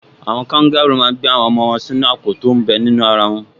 Àwọn kangarúù máa n gbé àwọn ọmọ wọn sínú àpò tó m bẹ ní ara wọn